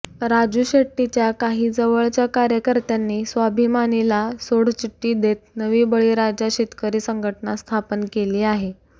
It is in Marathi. राजू शेट्टीच्या काही जवळच्या कार्यकर्त्यांनी स्वाभिमानीला सोडचिठ्टी देत नवी बळीराजा शेतकरी संघटना स्थापना केली आहे